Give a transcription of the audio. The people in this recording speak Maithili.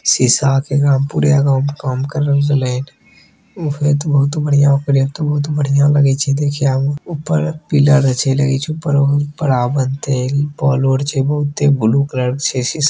शीशा के एकरा में पूरे अगा में काम करल गेले हैन ऊ होत बहुत बढ़िया ओकरे ते बहुत बढ़िया लगे छै देखा में ऊपर पिलर अच्छे लगे छै उपरो बड़ा बनते बॉल आर छै बहुते बुलू कलर के छै शीशा --